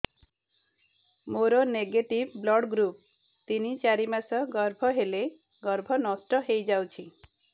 ମୋର negative blood group ତିନ ଚାରି ମାସ ଗର୍ଭ ହେଲେ ଗର୍ଭ ନଷ୍ଟ ହେଇଯାଉଛି